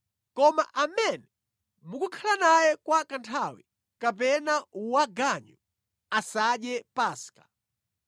Koma amene mukukhala naye kwa kanthawi kapena waganyu asadye Paska.